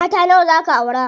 Mata nawa zaa ka aura?